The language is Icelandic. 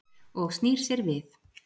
Og snýr sér við.